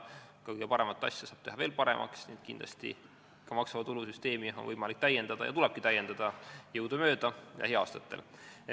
Ka kõige paremat asja saab teha veel paremaks, nii et kindlasti on maksuvaba tulu süsteemi võimalik täiendada ja tulebki jõudumööda lähiaastatel täiendada.